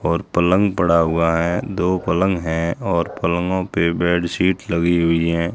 और पलंग पड़ा हुआ है दो पलंग है और पलंगो पे बेडशीट लगी हुई है।